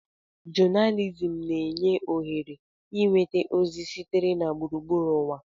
Jonalizim na-enye ohere ịnweta ozi sitere na gburugburu ụwa.